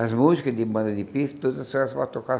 As músicas de bandas de pife, tudo só era para tocar.